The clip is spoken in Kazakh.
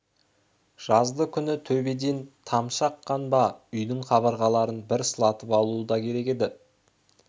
жазды күні төбеден тамшы аққан ба үйдің қабырғаларын бір сылатып алу да керек еді